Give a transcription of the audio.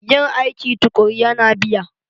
Yin aiki tukuru yana biya.